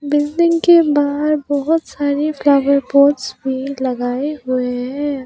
Building के बाहर बहुत सारे फ्लावर पॉट्स भी लगाए हुए है।